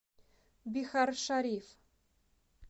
бихаршариф